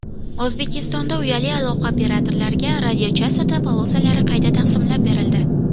O‘zbekistonda uyali aloqa operatorlariga radiochastota polosalari qayta taqsimlab berildi.